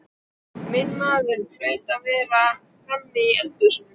Minn maður hlaut að vera frammi í eldhúsi.